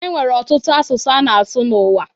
E nwere ọtụtụ asụsụ a na-asụ n'ụwa